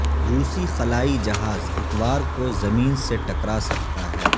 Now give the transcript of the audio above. روسی خلائی جہاز اتوار کو زمین سے ٹکرا سکتا ہے